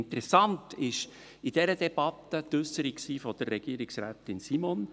Interessant war in dieser Debatte die Äusserung von Regierungsrätin Simon.